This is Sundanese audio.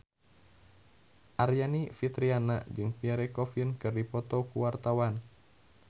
Aryani Fitriana jeung Pierre Coffin keur dipoto ku wartawan